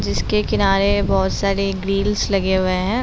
जिसके किनारे बहुत सारे ग्रील्स लगे हुए हैं।